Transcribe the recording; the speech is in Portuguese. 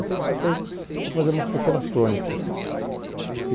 Então, eu passei a fazer umas pequenas crônicas.